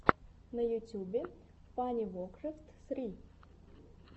на ютюбе фанивокрэфт сри